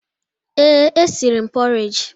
Ee, e siri m pọreji.